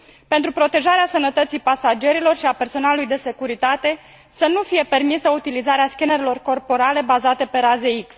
Pentru protejarea sănătății pasagerilor și a personalului de securitate, să nu fie permisă utilizarea scanerelor corporale bazate pe raze X.